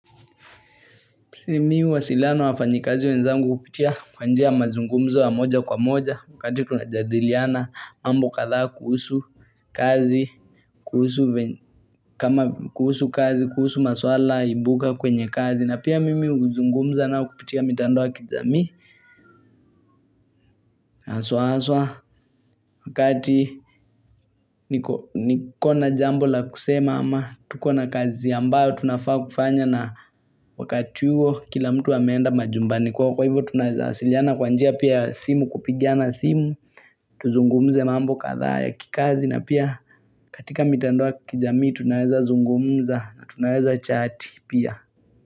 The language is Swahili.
Mimi huwasiliana wafanyi kazi wenzangu kupitia kwanjia mazungumza wa moja kwa moja wakati tunajadiliana mambo katha kuhusu kazi kuhusu kazi kuhusu maswala ibuka kwenye kazi na pia mimi uzungumza nao kupitia mitando wa kijami Aswa aswa wakati niko na jambo la kusema ama tuko na kazi ambayo tunafaa kufanya na wakati huo kila mtu ameenda majumbani kwa kwa hivyo Tunaeza asiliana kwa njia pia simu kupigiana simu Tuzungumze mambo katha ya kikazi na pia katika mitandoa ya kijaami Tunazazungumza na tunazachati pia.